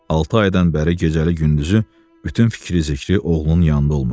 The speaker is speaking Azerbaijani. Altı aydan bəri gecəli gündüzü bütün fikri-zikri oğlunun yanında olmuşdu.